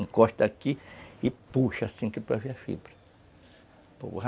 Encosta aqui e puxa, assim que é para ver a fibra.